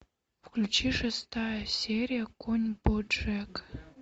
включи шестая серия конь боджек